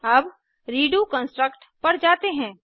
अब redo construct पर जाते हैं